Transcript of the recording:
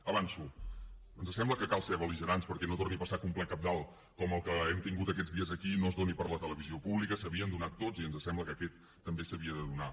avanço ens sembla que cal ser belsar que un ple cabdal com el que hem tingut aquests dies aquí no es faci per la televisió pública s’havien fet tots i ens sembla que aquest també s’havia de fer